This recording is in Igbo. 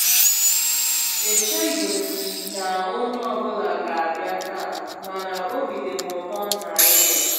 E cheghị m na onye ọ bụla ga-abịa taa, mana obi dị m ụtọ na ị́ bịara.